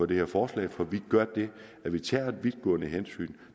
det her forslag for vi gør det at vi tager vidtgående hensyn